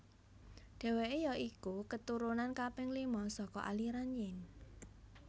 Dheweke ya iku keturunan kaping lima saka aliran Yin